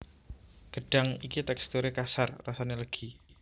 Gêdhang iki téksturé kasar rasané lêgi